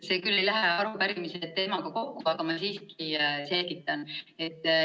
See ei lähe küll arupärimise teemaga kokku, aga ma siiski selgitan.